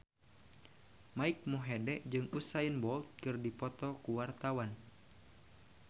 Mike Mohede jeung Usain Bolt keur dipoto ku wartawan